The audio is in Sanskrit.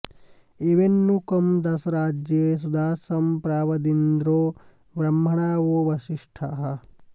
ए॒वेन्नु कं॑ दाशरा॒ज्ञे सु॒दासं॒ प्राव॒दिन्द्रो॒ ब्रह्म॑णा वो वसिष्ठाः